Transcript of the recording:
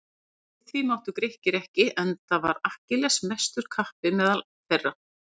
Við því máttu Grikkir ekki enda var Akkilles mestur kappi meðal þeirra.